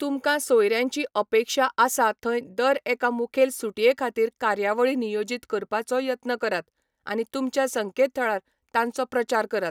तुमकां सोयऱ्यांची अपेक्षा आसा थंय दर एका मुखेल सुटये खातीर कार्यावळी नियोजीत करपाचो यत्न करात, आनी तुमच्या संकेतथळार तांचो प्रचार करात.